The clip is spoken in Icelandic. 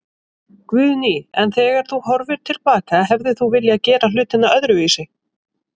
Guðný: En þegar þú horfir til baka, hefðir þú viljað gera hlutina öðruvísi?